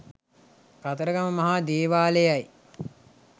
කතරගම මහා දේවාලයයි.